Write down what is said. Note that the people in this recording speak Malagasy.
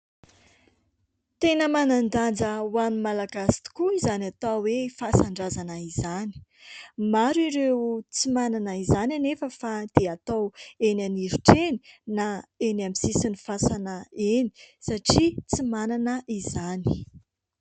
Tena manan-danja ho an'ny Malagasy tokoa izany atao hoe fasan-drazana izany, maro ireo tsy manana izany anefa fa dia atao eny anirotra eny na eny amin'ny sisin'ny fasana eny satria tsy manana izany.